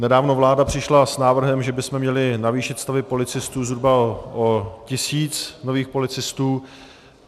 Nedávno vláda přišla s návrhem, že bychom měli navýšit stavy policistů zhruba o tisíc nových policistů.